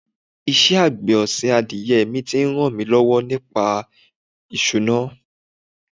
Ìṣe àgbẹ̀ ọ̀sìn adìyẹ mi ti ń ràn mí lọ́wọ́ nípa ìṣúná.